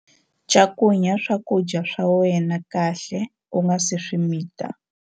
Cakunya swakudya swa wena kahle u nga si swi mita.